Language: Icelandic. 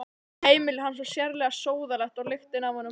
Heimili hans var sérlega sóðalegt og lyktin af honum vond.